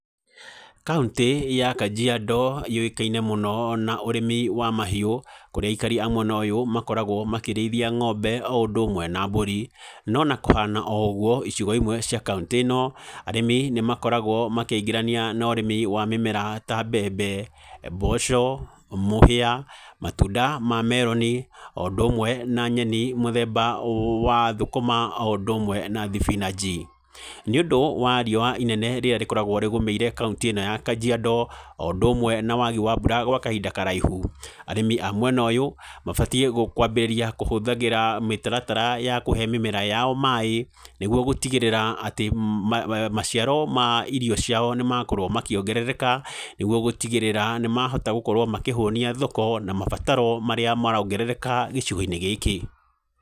Kauntĩ ya Kajiado yũĩkaine mũno na ũrĩmi wa mahiũ. Kũrĩa aikari a mwena ũyũ makoragwo makĩrĩithia ngombe, o ũndũ ũmwe na mbũri. No na kũhana o ũgũo icigo imwe cia kauntĩ ĩno, arĩmĩ nĩ makoragwo makĩigĩrania na ũrĩmi wa mĩmera ta mbembe, mboco, mũhĩa, matunda ma meroni, o ũndũ ũmwe na nyeni mũthemba wa thũkũma o ũndũ ũmwe na thibinanji. Nĩ ũndũ wa riũa inene rĩrĩa rĩkoragwo rĩgũmĩire kauntĩ ĩno ya Kajiado, o ũndũ ũmwe na wagĩ wa mbura gwa kahinda karaihu, arĩmi a mwena ũyũ mabatiĩ kwambĩrĩria kũhũthagĩra mĩtaratara ya kũhe mĩmera yao maaĩ nĩgũo gũtigĩrĩra atĩ maciaro ma irio ciao nĩ makorwo makĩongerereka nĩguo gũtigĩrĩra, ni mahota gũkorwo makĩhũnia thoko, na mabataro marĩa marongerereka gĩcigo-inĩ gĩkĩ.